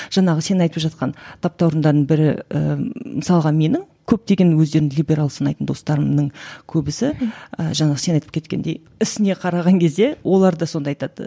жаңағы сен айтып жатқан таптауырындардың бірі і мысалға менің көптеген өздерін либерал санайтын достарымның көбісі і жаңағы сен айтып кеткендей ісіне қараған кезде олар да сонда айтады